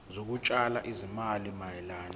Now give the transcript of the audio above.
zokutshala izimali mayelana